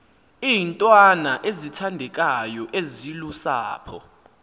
iintwana ezithandekayo ezilusapho